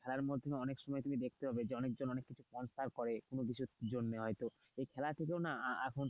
খেলার মধ্যে অনেক সময় তুমি দেখতে পাবে যে অনেকজন অনেক কিছু sponsor করে কোন কিছুর জন্য হয়তো এই খেলা কিছু না আহ এখন,